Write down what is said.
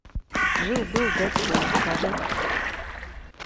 жил был дедпул покажи